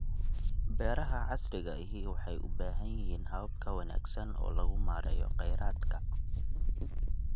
Beeraha Beeraha casriga ahi waxay u baahan yihiin habab ka wanaagsan oo lagu maareeyo kheyraadka.